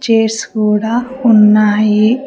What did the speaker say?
Chairs కూడా ఉన్నాయి.